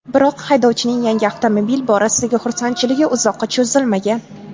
Biroq haydovchining yangi avtomobil borasidagi xursandchiligi uzoqqa cho‘zilmagan.